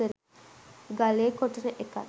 ගලේ කොටන එකත්